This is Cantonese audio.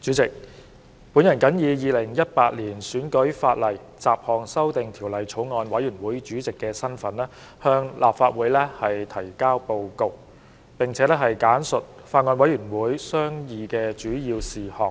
主席，我謹以《2018年選舉法例條例草案》委員會主席的身份，向立法會提交報告，並簡述法案委員會商議的主要事項。